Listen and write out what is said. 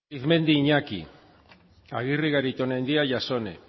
agirre arizmendi iñaki agirre garitaonaindia jasone